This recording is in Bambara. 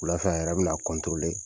Wulafɛ a yɛrɛ bɛna kɔntorole